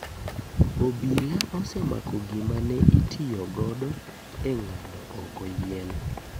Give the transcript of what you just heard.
Obila osemako gima ne itiyo godo e ng'ado oko yien.